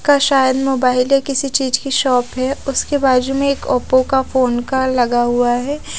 का शायद मोबाइल दे किसी चीज की शॉप है उसके बाजू में एक ओपो का फ़ोन का लगा हुआ है।